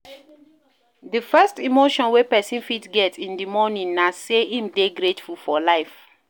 Di first emotion wey person fit get in di morning na sey im dey grateful for life